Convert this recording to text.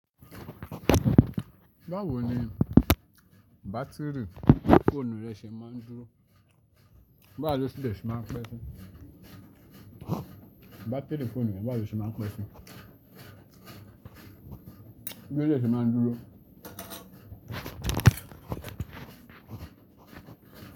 Báwo ni bátìrì fóònù rẹ ṣe máa ń dúró? Báwo ni o dé ṣe máa ń pẹ́ sí? Bátìrì fóònù re, báwo ni o ṣe máa n pe si? Bí ó de se máa ń dúró?